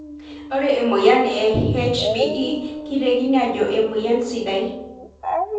Ore emoyian e HbE keitekini ajo kemoyian sidai.